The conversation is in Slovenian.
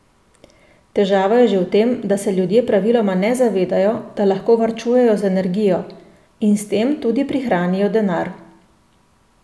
Težava je že v tem, da se ljudje praviloma ne zavedajo, da lahko varčujejo z energijo in s tem tudi prihranijo denar.